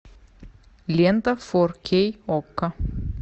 лента фор кей окко